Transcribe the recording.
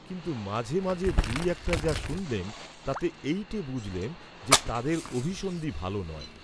কিন্তু মাঝে মাঝে দুই একটা যা’ শুনলেম তাতে এইটে বুঝলেম যে তাদের অভিসন্ধি ভাল নয়।